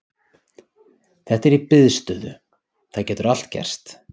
Þetta er í biðstöðu, það getur allt gerst.